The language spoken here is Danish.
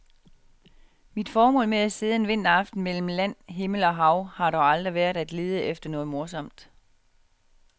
Mit formål med at sidde en vinteraften mellem land, himmel og hav har dog aldrig været at lede efter noget morsomt.